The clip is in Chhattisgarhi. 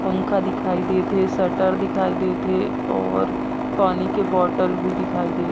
पंखा दिखाई देत हे शटर दिखाई देत हे और पानी के बॉटल भी दिखाई देत--